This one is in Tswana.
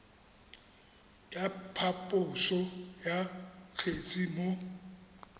ya phaposo ya kgetse mo